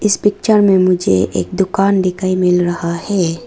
इस पिक्चर में मुझे एक दुकान दिखाई मिल रहा है।